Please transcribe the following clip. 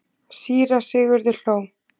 Síra Sigurður hló.